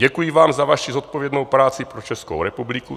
Děkuji Vám za Vaši zodpovědnou práci pro Českou republiku."